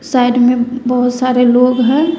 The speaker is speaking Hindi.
साइड में बहोत सारे लोग हैं।